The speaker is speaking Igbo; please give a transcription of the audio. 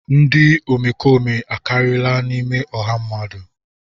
Ndị omekome akariala n'ime ọha mmadụ.